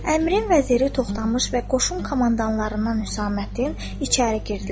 Əmrin vəziri Toxtamış və qoşun komandirlərindən Hüsammədin içəri girdilər.